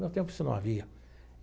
Meu tempo isso não havia.